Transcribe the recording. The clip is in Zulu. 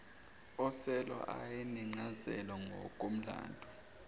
oselwa ayenencazelo ngokomlando